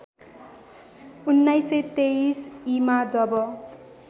१९२३ ईमा जब